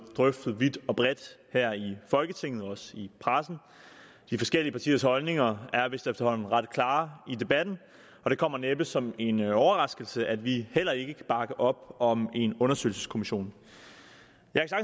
drøftet vidt og bredt her i folketinget og også i pressen de forskellige partiers holdninger i er vist efterhånden ret klare og det kommer næppe som en overraskelse at vi heller ikke kan bakke op om en undersøgelseskommission